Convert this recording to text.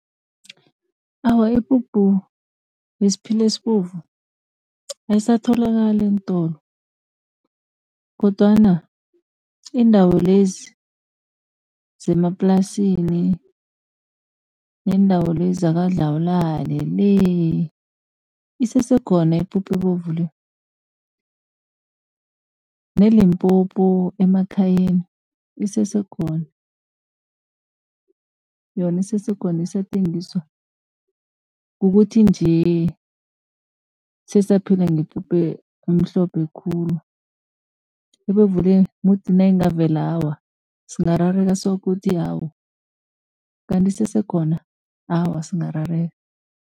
Awa, ipuphu yesiphila esibovu ayisatholakali eentolo kodwana iindawo lezi zemaplasini, neendawo lezi zaKwaDlawulale le isesekhona ipuphu ebovu le. NeLimpopo emakhayeni isesekhona, yona isesekhona isathengiswa, kukuthi nje sesaphila ngepuphu emhlophe khulu. Ebovu le mudi nayingavela awa singarareka soke ukuthi awu kanti isesekhona, awa singarareka.